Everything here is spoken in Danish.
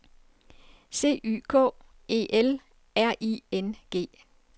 C Y K E L R I N G